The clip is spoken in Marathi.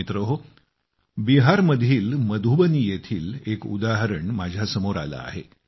मित्रहो बिहारमधील मधुबनी येथील एक उदाहरण माझ्या समोर आले आहे